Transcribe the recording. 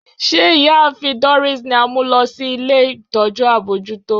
Ṣe Iyaafin Doris ni a mu lọ si ile itọju abojuto?